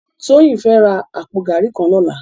Toyin fè rá àpó gàrí kàn lòlá